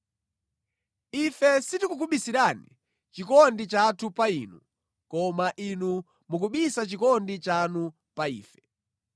Ife sitikukubisirani chikondi chathu pa inu, koma inu mukubisa chikondi chanu pa ife.